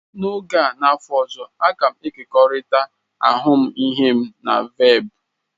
N'oge a n'afọ ọzọ, a ga m ekekọrịta ahụmịhe m na Velp.